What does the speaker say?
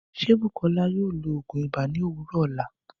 Ṣé Bukola yóò lo òògùn ibà ni òwúrọ̀ ọla?